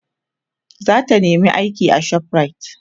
zata nema aiki a shoprite